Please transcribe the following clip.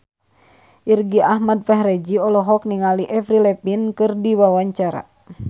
Irgi Ahmad Fahrezi olohok ningali Avril Lavigne keur diwawancara